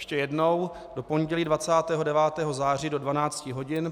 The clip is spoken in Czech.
Ještě jednou: do pondělí 29. září do 12 hodin.